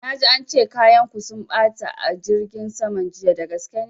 Na ji ance kayan ku sun ɓata a jirgin saman jiya, dagaske ne?